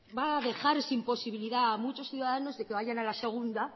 va a dejar sin posibilidad a muchos ciudadanos de que vayan a la segunda